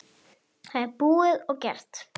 Það er búið og gert!